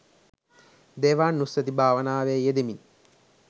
දේවානුස්සතී භාවනාවේ යෙදෙමින්